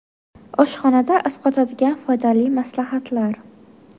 Oshxonada asqotadigan foydali maslahatlar.